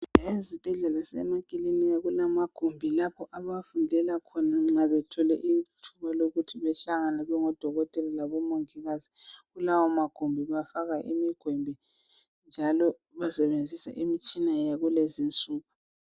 Ezibhedlela lasemakilinika kulamagumbi lapho abafundela khona nxa bethole ithuba lokuthi behlangane bengodokotela labomongikazi. Kulawomagumbi bafaka imigwembe njalo basebenzisa imitshina yakulezi insuku